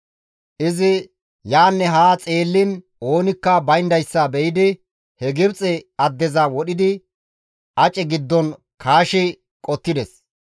Izi yaanne haa xeelliin oonikka bayndayssa be7idi he Gibxe addeza wodhidi ace giddon kaashi qottides.